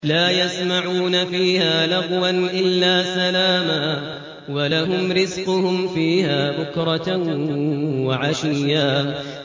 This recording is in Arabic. لَّا يَسْمَعُونَ فِيهَا لَغْوًا إِلَّا سَلَامًا ۖ وَلَهُمْ رِزْقُهُمْ فِيهَا بُكْرَةً وَعَشِيًّا